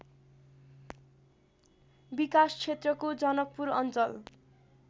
विकासक्षेत्रको जनकपुर अञ्चल